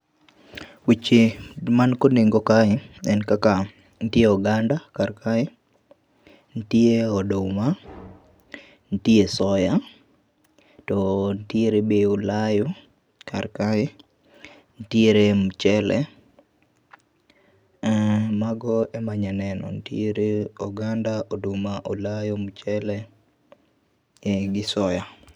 Weche mani kod nengo kae, en kaka, nitie oganda karkae, nitie oduma, nitie soya, to nitiere be olayo karkae. Nitiere mchele[um] mago ema anyalo neno. Nitiere oganda, oduma, olayo, mchele, gi soya.